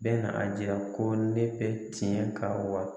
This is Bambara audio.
Bɛna na a jira ko ne bɛ tiɲɛ kan wa?